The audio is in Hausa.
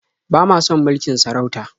Ba ma son mulkin sarauta.